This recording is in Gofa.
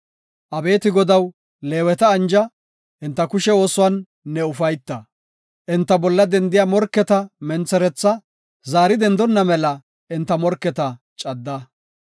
Abeeti Godaw, Leeweta anja; enta kushe oosuwan ne ufayta. Enta bolla dendiya morketa mentheretha zaari dendonna mela enta morketa cadda.”